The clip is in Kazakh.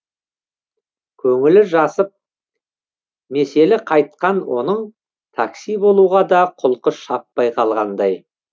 көңілі жасып меселі қайтқан оның такси болуға да құлқы шаппай қалғандай